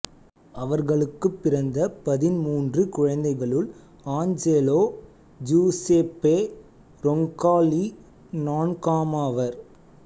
அவர்களுக்குப் பிறந்த பதின்மூன்று குழந்தைகளுள் ஆஞ்செலோ ஜூசேப்பே ரொங்கால்லி நான்காமவர்